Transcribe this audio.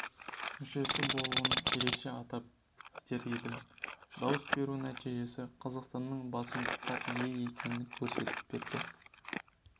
мүшесі болуын ерекше атап өтер едім дауыс беру нәтижесі қазақстанның басымдыққа ие екенін көрсетіп берді